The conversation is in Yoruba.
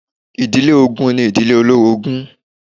Ìdílé ogun ni ìdílé olórogún